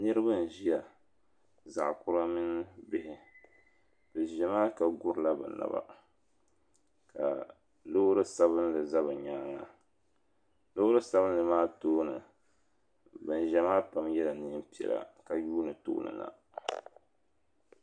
Niriba n ʒia zaɣa kura mini bihi n ʒia maa ka gurila bɛ naba ka Loori sabinli za bɛ nyaanga loori sabinli maa tooni banzaya maa pam yela niɛn piɛla ka yuuni tooni na.